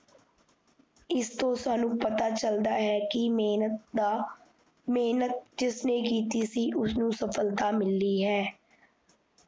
ਇਸ ਤੋਂ ਸਾਨੂ ਪਤਾ ਚਲਦਾ ਹੈ ਕੀ ਮੇਹਨਤ ਦਾ, ਮੇਹਨਤ ਜਿਸਨੇ ਕੀਤੀ ਸੀ, ਉਸਨੁ ਸਫਲਤਾ ਮਿਲਣੀ ਹੈ